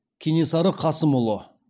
кенесары қасымұлы